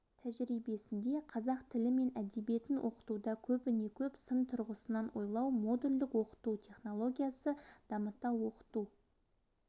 тәжірибесінде қазақ тілі мен әдебиетін оқытуда көбіне-көп сын тұрғысынан ойлау модульдік оқыту технологиясы дамыта оқыту